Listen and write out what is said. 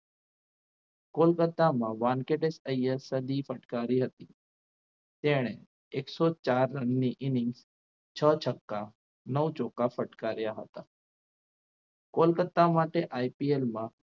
કોલકત્તામાં વાનકેટે સદી ફટકારી હતી તેણે એકસો ચાર રનની inning છક્કા નવ ચોખા ફટ કર્યા હતા. કોલકત્તા માટે IPL માં